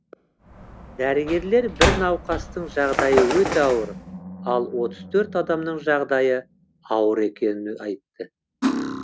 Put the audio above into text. дәрігерлер бір науқастың жағдайы өте ауыр ал отыз төрт адамның жағдайы ауыр екенін айтты